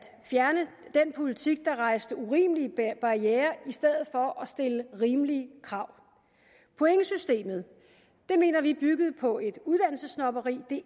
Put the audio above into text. fjerne den politik der rejste urimelige barrierer i stedet for at stille rimelige krav pointsystemet mener vi byggede på et uddannelsessnobberi det